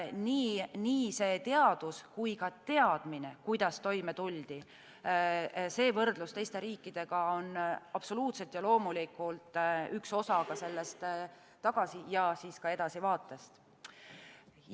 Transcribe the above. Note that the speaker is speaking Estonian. Nii teadus kui ka teadmine, kuidas toime tuldi, võrdlus teiste riikidega on absoluutselt ja loomulikult üks osa sellest tagasi- ja siis ka edasivaatest.